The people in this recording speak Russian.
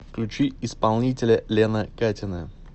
включи исполнителя лена катина